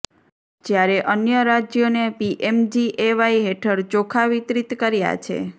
જ્યારે અન્ય રાજ્યોને પીએમજીએવાય હેઠળ ચોખા વિતરિત કર્યા છે